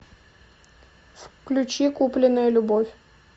включи купленная любовь